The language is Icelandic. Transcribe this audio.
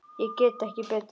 Ég get ekki betur.